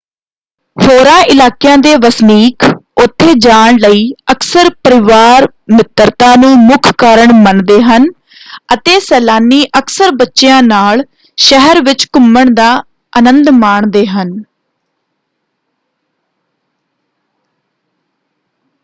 ਹੋਰਾਂ ਇਲਾਕਿਆਂ ਦੇ ਵਸਨੀਕ ਉੱਥੇ ਜਾਣ ਲਈ ਅਕਸਰ ਪਰਿਵਾਰ-ਮਿੱਤਰਤਾ ਨੂੰ ਮੁੱਖ ਕਾਰਨ ਮੰਨਦੇ ਹਨ ਅਤੇ ਸੈਲਾਨੀ ਅਕਸਰ ਬੱਚਿਆਂ ਨਾਲ ਸ਼ਹਿਰ ਵਿੱਚ ਘੁੰਮਣ ਦਾ ਅਨੰਦ ਮਾਣਦੇ ਹਨ।